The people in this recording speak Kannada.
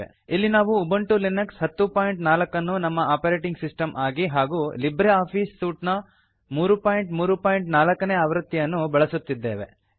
ಇಲ್ಲಿ ನಾವು ಉಬಂಟು ಲಿನಕ್ಸ್ 1004 ಅನ್ನು ನಮ್ಮ ಆಪರೇಟಿಂಗ್ ಸಿಸ್ಟಮ್ ಆಗಿ ಹಾಗೂ ಲಿಬ್ರೆ ಆಫೀಸ್ ಸೂಟ್ ನ 334 ನೇ ಆವೃತ್ತಿಯನ್ನು ಬಳಸುತ್ತಿದ್ದೇವೆ